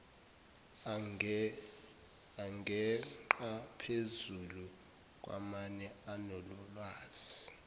angengaphezulu kwamane anolwazi